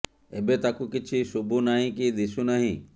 ଏବେ ତାକୁ କିଛି ଶୁଭୁ ନାହିଁ କି ଦିଶୁ ନାହିଁ